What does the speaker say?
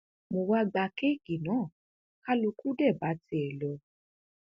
mo wá gba kéèkì náà kálukú dẹ̀ bá tiẹ lọ